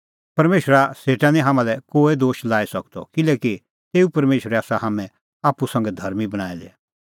परमेशरा सेटा निं हाम्हां लै कोहै दोश लाई सकदअ किल्हैकि तेऊ परमेशरै आसा हाम्हैं आप्पू संघै धर्मीं बणांऐं दै